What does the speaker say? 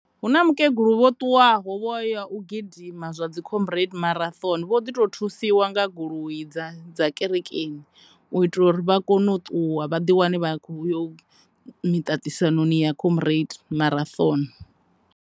Hu na mukegulu vho ṱuwaho vho ya u gidima dzi combrade marathon vho ḓi to thusiwa nga goloi dza kerekeni u itela uri vha kone u ṱuwa vha ḓi wane vha khou ya miṱaṱisanoni ya combrade marathon.